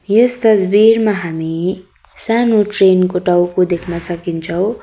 यस तस्बिरमा हामी सानो ट्रेन को टाउको देख्न सकिन्छौ।